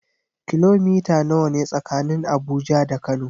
Kilomita nawa ne tsakanin Abuja da Kano?